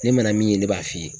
Ne mana min ye ne b'a f'i ye.